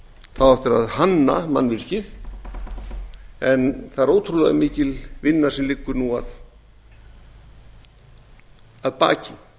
á eftir að hanna mannvirkið en það er ótrúlega mikil vinna sem liggur nú að baki